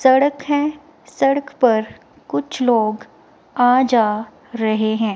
सड़क है। सड़क पर कुछ लोग आ जा रहे हैं।